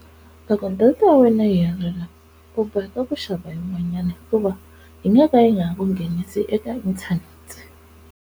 Loko data ya wena yi herile u boheka ku xava yin'wanyani hikuva yi nga ka yi nga ha ku nghenisi eka inthanete.